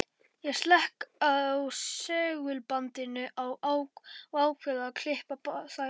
Ég slekk á segulbandinu og ákveð að klippa þær.